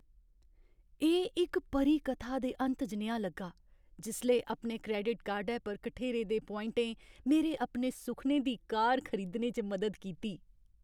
एह् इक परी कथा दे अंत जनेहा लग्गा जिसलै अपने क्रैडिट कार्डै पर कठेरे दे पोआइंटें मेरे अपने सुखनें दी कार खरीदने च मदद कीती।